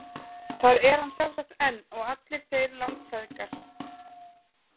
Þar er hann sjálfsagt enn og allir þeir langfeðgar.